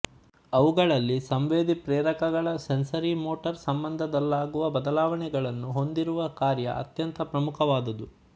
ಅವುಗಳಲ್ಲಿ ಸಂವೇದಿಪ್ರೇರಕಗಳ ಸೆನ್ಸರಿಮೋಟಾರ್ ಸಂಬಂಧದಲ್ಲಾಗುವ ಬದಲಾವಣೆಗಳನ್ನು ಹೊಂದಿಸುವ ಕಾರ್ಯ ಅತ್ಯಂತ ಪ್ರಮುಖವಾದದ್ದು